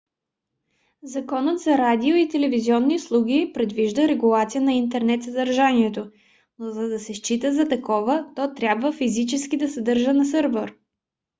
законът за радио и телевизионни услуги предвижда регулация на интернет съдържанието но за да се счита за такова то трябва физически да се съдържа на сървър